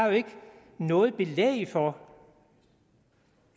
noget belæg for